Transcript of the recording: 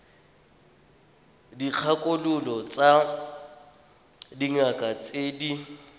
dikgakololo tsa dingaka tse di